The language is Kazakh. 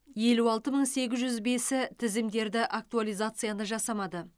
елу алты мың сегіз жүз бесі тізімдерді актуализацияны жасамады